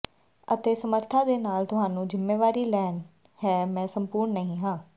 ਅਤੇ ਸਮਰੱਥਾ ਦੇ ਨਾਲ ਤੁਹਾਨੂੰ ਜ਼ਿੰਮੇਵਾਰੀ ਲੈਣੀ ਹੈ ਮੈਂ ਸੰਪੂਰਣ ਨਹੀਂ ਹਾਂ